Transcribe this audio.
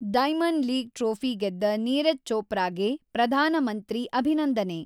diamond league trophy ಗೆದ್ದ ನೀರಜ್ ಚೋಪ್ರಾಗೆ ಪ್ರಧಾನಮಂತ್ರಿ ಅಭಿನಂದನೆ